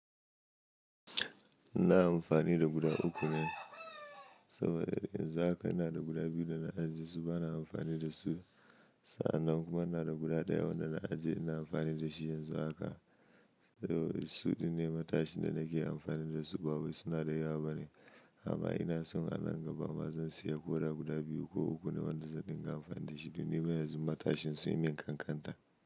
Ina amfani da guda uku ne saboda yanzu haka ina da guda biyu da na ajiye su bana amfani da su sa'an nan kuma ina da guda ɗaya wanda na ajiye ina amfani da shi yanzu haka. Suɗinne matashin da nake amfani da su ba wai suna da yawa ba ne amma ina son a nan gaba ma zan siya ko da guda biyu ko uku ne wadanda zan dinga amfani da shi domin yanzu matashin sun yi min ƙanƙanta.